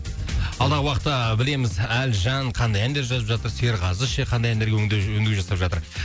алдағы уақытта білеміз әлжан қандай әндер жазып жатыр серғазы ше қандай әндерге өңдеу өңдеу жасап жатыр